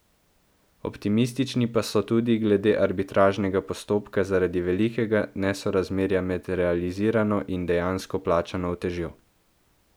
Optimistični pa so tudi glede arbitražnega postopka zaradi velikega nesorazmerja med realizirano in dejansko plačano utežjo.